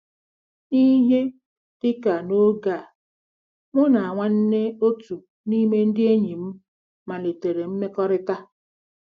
N'ihe dị ka n'oge a, mụ na nwanne otu n'ime ndị enyi m malitere mmekọrịta.